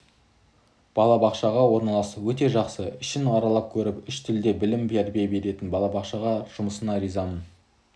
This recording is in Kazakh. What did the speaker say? балабақшаға орналасты өте жақсы ішін аралап көріп үш тілде білім тәрбие беретін балабақша жұмысына риза